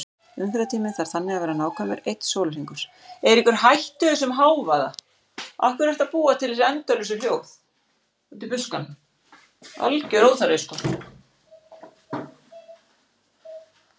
Umferðartíminn þarf þannig að vera nákvæmlega einn sólarhringur.